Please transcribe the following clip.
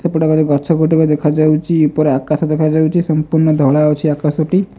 ସେପଟ ଘରେ ଗଛ ଗୋଟେକ ଦେଖା ଯାଉଛି। ଉପରେ ଆକାଶ ଦେଖା ଯାଉଛି। ସମ୍ପୂର୍ଣ ଧଳା ଅଛି ଆକାଶ ଟି।